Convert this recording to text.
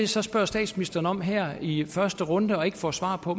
så spørger statsministeren om her i første runde og ikke får svar på